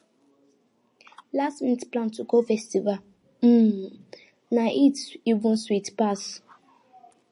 lastminute plan to go festival um na it even sweet pass